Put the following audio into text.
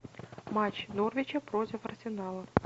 матч норвича против арсенала